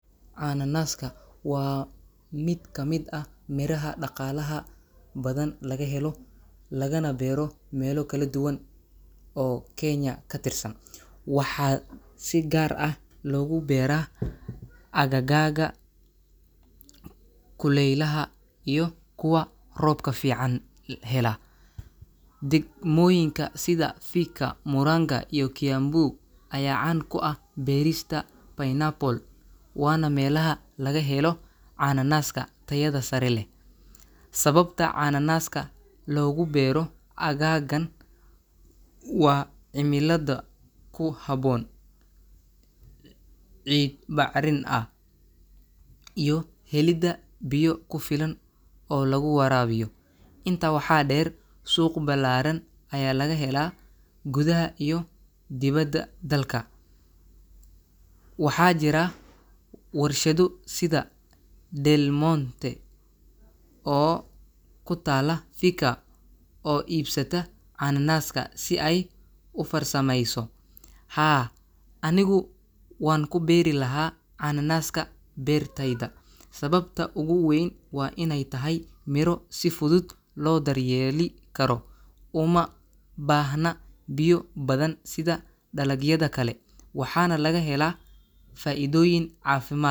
Cananaaska waa mid ka mid ah miraha dhaqaalaha badan laga helo, lagana beero meelo kala duwan oo Kenya ka tirsan. Waxaa si gaar ah loogu beeraa aagagga kuleylaha iyo kuwa roobka fiican hela. Degmooyinka sida Thika, Murang’a, iyo Kiambu ayaa caan ku ah beerista pineapple waana meelaha laga helo cananaaska tayada sare leh. Sababta cananaaska loogu beero aaggaan waa cimilada ku habboon, ciid bacrin ah, iyo helidda biyo ku filan oo lagu waraabiyo. Intaa waxaa dheer, suuq ballaaran ayaa laga helaa gudaha iyo dibadda dalka. Waxaa jira warshado sida Del Monte oo ku taalla Thika oo iibsata cananaaska si ay u farsamayso. Haa, anigu waan ku beeri lahaa cananaaska beertayda. Sababta ugu weyn waa inay tahay miro si fudud loo daryeeli karo, uma baahna biyo badan sida dalagyada kale, waxaana laga helaa faa'iidooyin caafimaad.